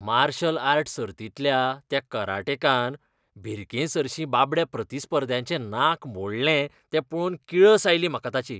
Martial art सर्तींतल्या त्या कराटेकान भिरकेसरशीं बाबड्या प्रतिस्पर्ध्याचें नाक मोडलें तें पळोवन किळस आयली म्हाका ताची.